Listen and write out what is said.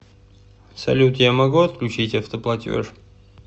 салют я могу отключить автоплатеж